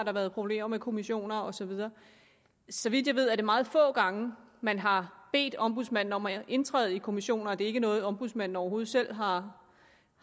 har været problemer med kommissioner og så videre så vidt jeg ved er det meget få gange man har bedt ombudsmanden om at indtræde i kommissioner og det ikke noget ombudsmanden overhovedet selv har